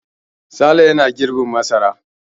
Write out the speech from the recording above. Sale yana girbin masara.